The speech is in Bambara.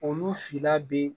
Olu fila bɛ